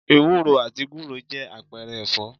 Ewúro àti gúre jẹ́ àpẹẹrẹ ẹ̀fọ́